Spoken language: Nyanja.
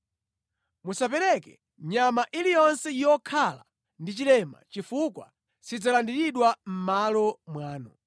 Musapereke nyama iliyonse yokhala ndi chilema chifukwa sidzalandiridwa mʼmalo mwanu.